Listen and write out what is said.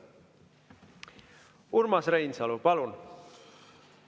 Urmas Reinsalu, palun!